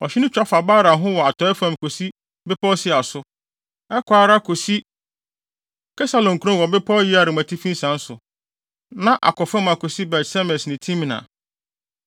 Ɔhye no twa fa Baala ho wɔ atɔe fam kosi bepɔw Seir so, ɛkɔ ara kosi Kesalon kurom wɔ bepɔw Yearim atifi nsian so, na akɔ fam akosi Bet-Semes ne Timna.